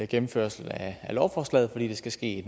gennemførelse af lovforslaget fordi det skal ske